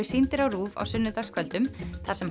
sýndir á RÚV á sunnudagskvöldum þar sem